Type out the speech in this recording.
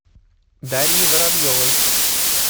дарьи воробьевой